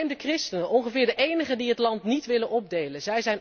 Neem de christenen, ongeveer de enigen die het land niet willen opdelen.